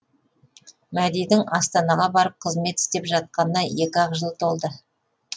мәдидің астанаға барып қызмет істеп жатқанына екі ақ жыл толды